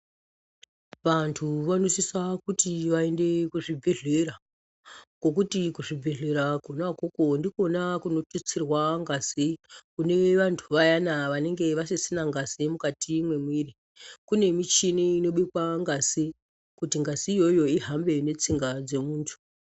Vantu vanosisa kuti vaende ku zvibhedhlera ngekuti ku zvibhedhlera kona ikoko ndikona kuno detserwa ngazi kune vantu vayana vanenge vasisina ngazi mukati me mwiri kune michini inobikwa ngazi kuti ngazi iyoyo ihambe ne tsinga dze muntu.